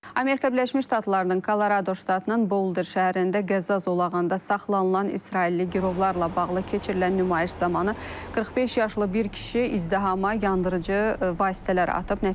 Amerika Birləşmiş Ştatlarının Kolorado ştatının Boulder şəhərində qəzza zolağında saxlanılan israilli girovlarla bağlı keçirilən nümayiş zamanı 45 yaşlı bir kişi izdihama yandırıcı vasitələr atıb.